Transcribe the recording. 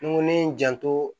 N ko ne ye n janto